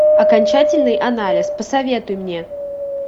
окончательный анализ посоветуй мне